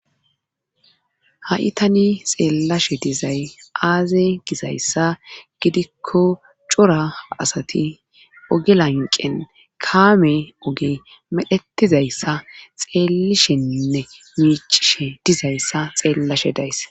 ha7itani xeellashe dizay aaze gizayssa gidikko cora asati oge lanqen kaame oge medhetizayssa xeelisheinne miicishe dizayssa xeellashe dayss